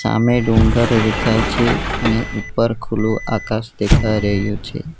આમે ડુંગર દેખાય છે અને ઉપર ખુલ્લું આકાશ દેખાય રહ્યું છે.